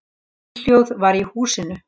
Steinhljóð var í húsinu.